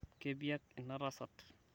kepiak inatasat